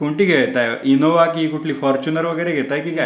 कुठली घेतेय इंनोवा कि फॉर्च्युनर वगैरे घेता कि काय.